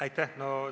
Aitäh!